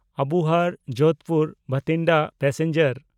ᱟᱵᱚᱦᱟᱨ–ᱡᱳᱫᱷᱯᱩᱨ–ᱵᱟᱴᱷᱤᱱᱰᱟ passenger